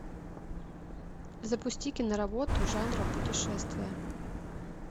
запусти киноработу жанра путешествия